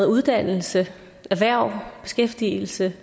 uddannelse erhverv beskæftigelse